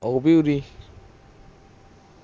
ਉਰੇ ਈ